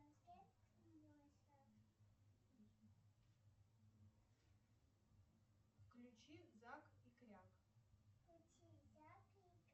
включи зак и кряк